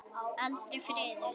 Aldrei friður.